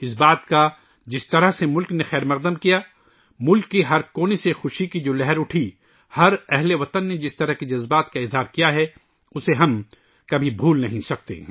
اس بات کا ، جس طرح سے ، ملک نے خیر مقدم کیا، ملک کے ہر کونے سے ، جو خوشی کی لہر اٹھی، ملک کے ہر باشندے نے ، جس طرح کے جذبات کا اظہار کیا ، اسے ہم کبھی بھول نہیں سکتے